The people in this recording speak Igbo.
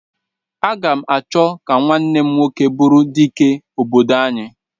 Aga m achọ ka nwanne m nwoke bụrụ Dike obodo anyị.